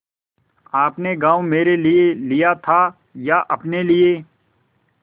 आपने गॉँव मेरे लिये लिया था या अपने लिए